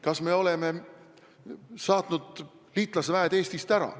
Kas me oleme liitlasväed Eestist ära saatnud?